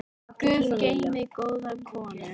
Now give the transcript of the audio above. Guð geymi góða konu.